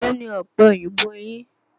Èló ni ọ̀pẹ oyìnbó yín?